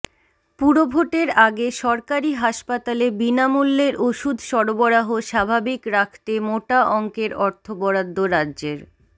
পুরভোটের আগে সরকারি হাসপাতালে বিনামূল্যের ওষুধ সরবরাহ স্বাভাবিক রাখতে মোটা অঙ্কের অর্থ বরাদ্দ রাজ্যের